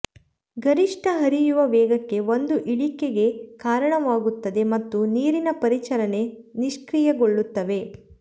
ಗರಿಷ್ಟ ಹರಿಯುವ ವೇಗಕ್ಕೆ ಒಂದು ಇಳಿಕೆಗೆ ಕಾರಣವಾಗುತ್ತದೆ ಮತ್ತು ನೀರಿನ ಪರಿಚಲನೆ ನಿಷ್ಕ್ರಿಯಗೊಳ್ಳುತ್ತವೆ